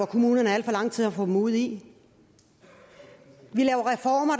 kommunerne er alt for lang tid om at få dem ud i vi laver reformer